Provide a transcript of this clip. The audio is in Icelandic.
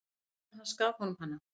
Pabbi hans gaf honum hana.